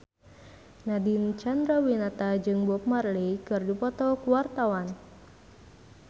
Nadine Chandrawinata jeung Bob Marley keur dipoto ku wartawan